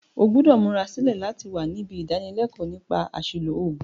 O gbúdò múra sílẹ̀ láti wa nibí ìdánilékóò nípa àsìlò ògùn